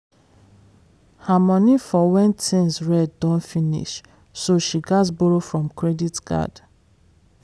her money for when things red don finish so she gatz borrow from credit card.